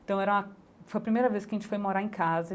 Então era, foi a primeira vez que a gente foi morar em casa.